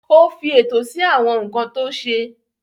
Ó fi ètò sí àwọn nǹkan tó ṣe.